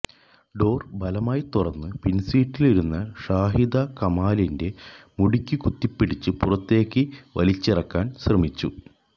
door ബലമായി തുറന്ന് പിൻസീറ്റിലിരുന്ന ഷാഹിദ കമാലിന്റെ മുടിക്കു കുത്തിപ്പിടിച്ച് പുറത്തേക്ക് വലിച്ചിറക്കാൻ ശ്രമിച്ചു